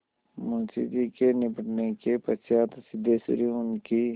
मुंशी जी के निबटने के पश्चात सिद्धेश्वरी उनकी